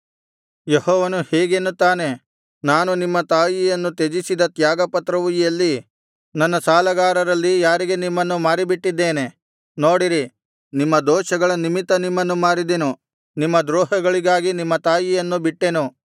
ಯೆಹೋವನು ಹೀಗೆನ್ನುತ್ತಾನೆ ನಾನು ನಿಮ್ಮ ತಾಯಿಯನ್ನು ತ್ಯಜಿಸಿದ ತ್ಯಾಗಪತ್ರವು ಎಲ್ಲಿ ನನ್ನ ಸಾಲಗಾರರಲ್ಲಿ ಯಾರಿಗೆ ನಿಮ್ಮನ್ನು ಮಾರಿಬಿಟ್ಟಿದ್ದೇನೆ ನೋಡಿರಿ ನಿಮ್ಮ ದೋಷಗಳ ನಿಮಿತ್ತ ನಿಮ್ಮನ್ನು ಮಾರಿದೆನು ನಿಮ್ಮ ದ್ರೋಹಗಳಿಗಾಗಿ ನಿಮ್ಮ ತಾಯಿಯನ್ನು ಬಿಟ್ಟೆನು